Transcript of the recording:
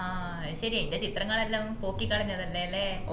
ആഹ് ശെരിയാ ഇൻറ്റെ ചിത്രങ്ങൾ എല്ലാം പോക്കി കളഞ്ഞതല്ലേല്ലേ